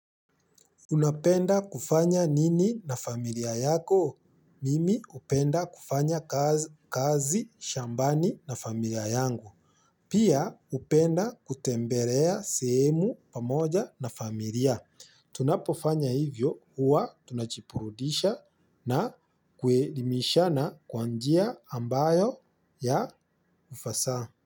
Unapenda kufanya nini na familia yako? Mimi hupenda kufanya kazi shambani na familia yangu. Pia upenda kutemberea sehemu pamoja na familia. Tunapofanya hivyo huwa tunachipurudisha na kuerimisha na kwa njia ambayo ya ufasaha.